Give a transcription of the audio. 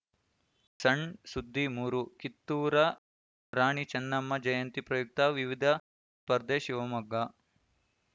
ಸಣ್‌ ಸುದ್ದಿ ಮೂರು ಕಿತ್ತೂರ ರಾಣಿ ಚೆನ್ನಮ್ಮ ಜಯಂತಿ ಪ್ರಯುಕ್ತ ವಿವಿಧ ಸ್ಪರ್ಧೆ ಶಿವಮೊಗ್ಗ